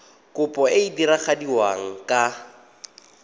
kopo e e diragadiwa ka